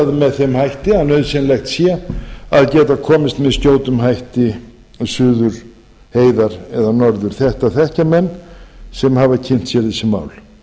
með þeim hætti að nauðsynlegt sé að geta komist með skjótum hætti suður heiðar eða norður þetta þekkja menn sem hafa kynnt sér þessi mál